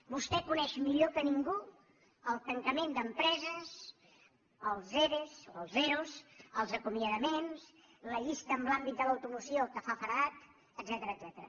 vostè coneix millor que ningú el tancament d’empreses els ere els ero els acomiadaments la llista en l’àmbit de l’automoció que fa feredat etcètera